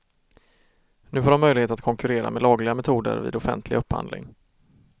Nu får de möjlighet att konkurrera med lagliga metoder vid offentlig upphandling.